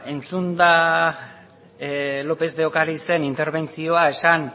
entzunda lópez de ocariz en interbentzioa esan